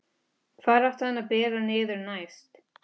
Hvar átti hann að bera niður næst?